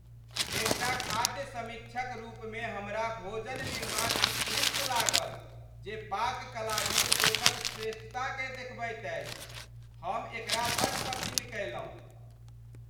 एकटा खाद्य समीक्षक रूपमे हमरा भोजन निर्माण उत्कृष्ट लागल जे पाक कलामे शेफक श्रेष्ठता देखबैत अछि। हम एकरा बड़ पसिन्न कएलहुँ।